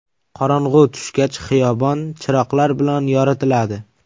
Qorong‘u tushgach xiyobon chiroqlar bilan yoritiladi.